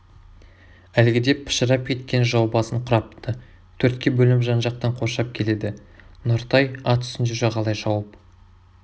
әлгіде пышырап кеткен жау басын құрапты төртке бөлініп жан-жақтаң қоршап келеді нұртай ат үстінде жағалай шауып